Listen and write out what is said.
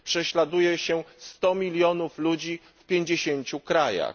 Prześladuje się 100 mln ludzi w 50 krajach.